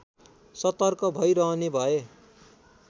सतर्क भइरहने भए